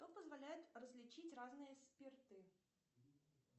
что позволяет различить разные спирты